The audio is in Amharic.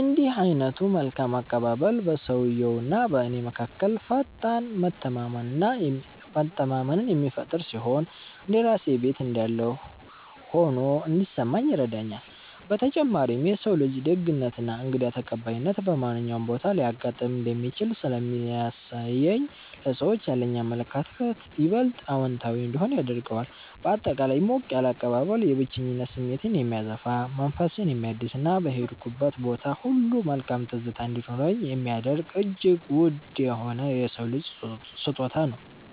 እንዲህ ዓይነቱ መልካም አቀባበል በሰውየውና በእኔ መካከል ፈጣን መተማመንን የሚፈጥር ሲሆን፣ እንደ ራሴ ቤት እንዳለሁ ሆኖ እንዲሰማኝ ይረዳኛል። በተጨማሪም የሰው ልጅ ደግነትና እንግዳ ተቀባይነት በማንኛውም ቦታ ሊያጋጥም እንደሚችል ስለሚያሳየኝ ለሰዎች ያለኝ አመለካከት ይበልጥ አዎንታዊ እንዲሆን ያደርገዋል። ባጠቃላይ ሞቅ ያለ አቀባበል የብቸኝነት ስሜትን የሚያጠፋ፣ መንፈስን የሚያድስና በሄድኩበት ቦታ ሁሉ መልካም ትዝታ እንዲኖረኝ የሚያደርግ እጅግ ውድ የሆነ የሰው ልጅ ስጦታ ነው።